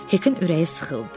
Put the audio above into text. Hekin ürəyi sıxıldı.